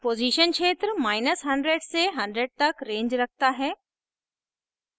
position क्षेत्र100 से 100 तक range रखता है